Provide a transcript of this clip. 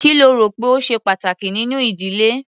Kí lo rò pé ó ṣe pàtàkì nínú ìdílé?